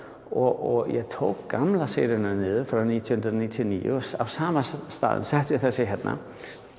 og ég tók gömlu seríuna niður frá nítján hundruð níutíu og níu og á sama stað setti ég þessa hérna